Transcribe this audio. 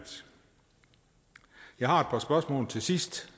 jeg har et par spørgsmål til sidst